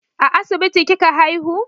A asibiti kika haihu?